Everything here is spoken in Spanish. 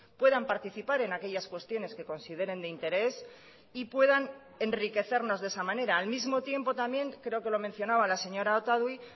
puedan participar en aquellas cuestiones que consideren de interés y puedan enriquecernos de esa manera al mismo tiempo también creo que lo mencionaba la señora otadui